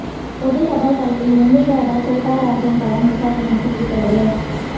பொது தபால் தலையில் மும்பை தாதா சோட்டா ராஜன் படம் விசாரணைக்கு உத்தரவு